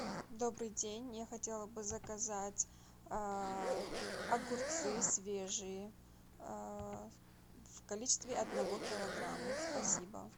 добрый день я хотела бы заказать огурцы свежие в количестве одного килограмма спасибо